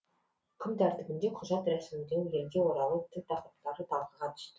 күн тәртібінде құжат рәсімдеу елге оралу тіл тақырыптары талқыға түсті